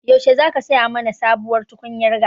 Yaushe za ka saya mana sabuwar tukunyar gas?